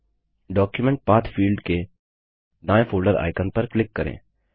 document path field के दायें folder icon पर क्लिक करें